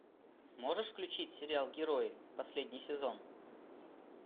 можешь включить сериал герои последний сезон